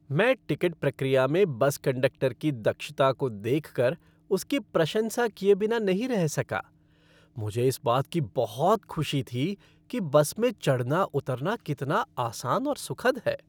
मैं टिकट प्रक्रिया में बस कंडक्टर की दक्षता को देख कर उसकी प्रशंसा किए बिना नहीं रह सका। मुझे इस बात की बहुत खुशी थी कि बस में चढ़ना उतरना कितना आसान और सुखद है।